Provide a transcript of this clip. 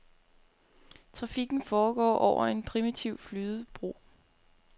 Trafikken foregår over en primitiv flydebro.